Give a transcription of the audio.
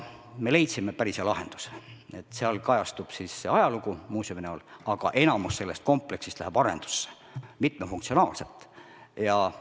Me leidsime päris hea lahenduse, et seal kajastub ajalugu, muuseumina, aga suurem osa sellest kompleksist läheb mitmefunktsionaalselt arendusse.